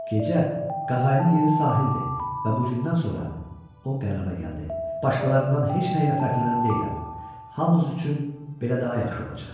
Gecə qağayının yeri sahildir və bugündən sonra o qərara gəldi: başqalarından heç nə ilə fərqlənən deyiləm, hamımız üçün belə daha yaxşı olacaq.